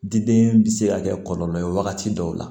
Diden bɛ se ka kɛ kɔlɔlɔ ye wagati dɔw la